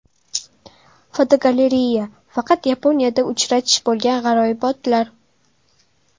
Fotogalereya: Faqat Yaponiyada uchratish bo‘lgan g‘aroyibotlar.